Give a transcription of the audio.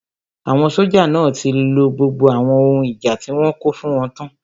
Àwọn sójà náà tí lo gbogbo àwọn ohun ìjà tí wọ́n kó fún wọn tán